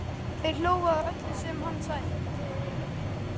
Þær hlógu að öllu sem hann sagði.